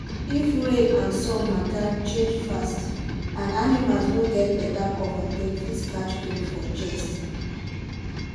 if rain and sun matter change fast and animals no get better cover dem fit catch cold for chest.